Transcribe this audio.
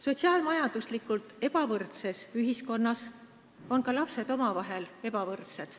Sotsiaal-majanduslikult ebavõrdses ühiskonnas on ka lapsed omavahel ebavõrdsed.